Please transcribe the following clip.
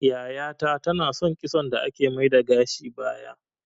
Yaya ta ta na son kitson da ake mai da gashi baya